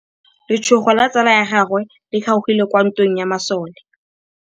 Letsôgô la tsala ya gagwe le kgaogile kwa ntweng ya masole.